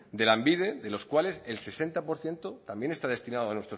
de lanbide de los cuales el sesenta por ciento también está destinado